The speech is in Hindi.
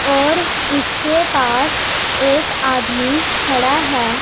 और उसके पास एक आदमी खड़ा है।